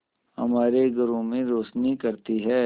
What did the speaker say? हमारे घरों में रोशनी करती है